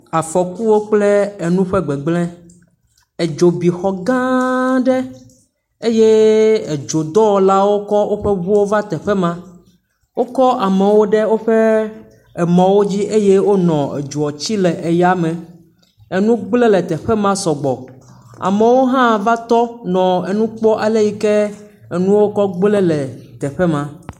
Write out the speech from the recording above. Afɔkuwo kple enuwo ƒe gbegble. Edzo bi xɔ gãa aɖe eye edzodɔwɔlawo kɔ woƒe eŋuwo va teƒe ma. Wokɔ amewo ɖe woƒe emɔwo dzi eya wonɔ edzowo tsi le eya me. Enu gble le teƒe ma sɔ gbɔ. Amewo hã va tɔ nɔ enu kpɔ ale yi kee enuwo va gble le teƒe ma.